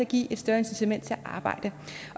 give et større incitament til at arbejde